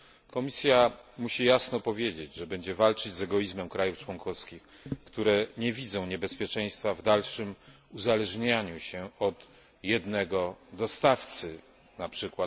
Komisja musi jasno powiedzieć, że będzie walczyć z egoizmem krajów członkowskich, które nie widzą niebezpieczeństwa w dalszym uzależnianiu się od jednego dostawcy, np.